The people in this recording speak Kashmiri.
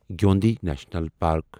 جیوندی نیٖشنل پارک